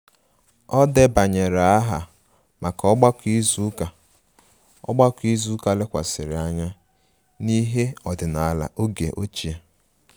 O debanyere aha maka ogbako izu ụka ogbako izu ụka lekwasịrị anya n'ihe ọdịnala oge ochie